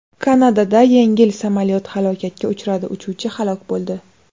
Kanadada yengil samolyot halokatga uchradi, uchuvchi halok bo‘ldi.